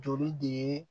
Joli de ye